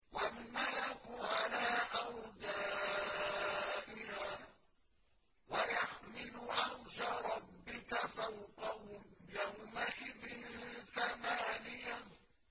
وَالْمَلَكُ عَلَىٰ أَرْجَائِهَا ۚ وَيَحْمِلُ عَرْشَ رَبِّكَ فَوْقَهُمْ يَوْمَئِذٍ ثَمَانِيَةٌ